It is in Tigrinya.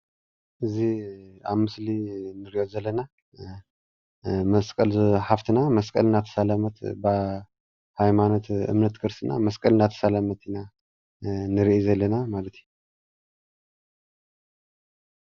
እዚ ኣብ ምስሊ እንሪኦ ዘለና መስቀል እዛ ሓፍትና መስቀል እናተሳለመት ናይ ሃይማኖት ክርስትና መስቀል እናተሳለመት ኢና ንርኢ ዘለና ማለት እዩ፡፡